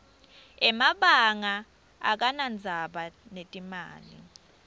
emabanga akanadzaba netimali